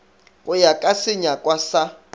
go ya ka senyakwa sa